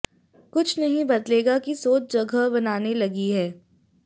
कुछ नहीं बदलेगा कि सोच जगह बनाने लगी है